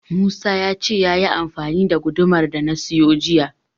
Musa ya ce yayi amfani da gudumar da na siyo jiya.